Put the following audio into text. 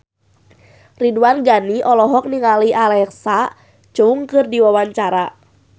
Ridwan Ghani olohok ningali Alexa Chung keur diwawancara